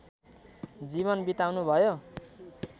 जीवन बिताउनुभयो